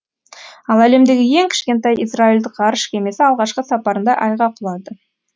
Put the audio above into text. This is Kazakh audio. ал әлемдегі ең кішкентай израильдік ғарыш кемесі алғашқы сапарында айға құлады